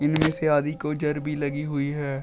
इनमें से आधी को जर भी लगी हुई है।